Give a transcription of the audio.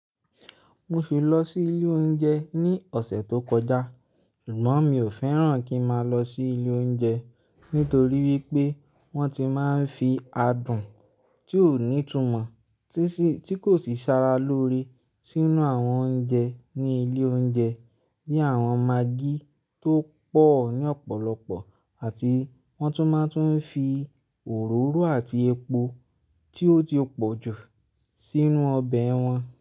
Mo fi lọ sí ilé oúnjẹ ní ọ̀sẹ̀ tó kọjá, ṣùgbọ́n mi ò fẹ́ràn kí má lọ sí ilé oúnjẹ nítorí wípé wọ́n ti máa ń fi adùn tí ó ní ìtumọ̀ tí kò sì sára lóore sínú àwọn oúnjẹ ní ilé oúnjẹ ní àwọn maggi tó pọ̀ ní ọ̀pọ̀lọpọ̀ àti wọ́n tún máa ń fi òróró àti epo tí ó ti pọ̀jù sínú ọbẹ̀ wọn.